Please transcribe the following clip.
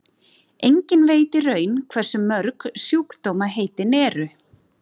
enginn veit í raun hversu mörg sjúkdómaheitin eru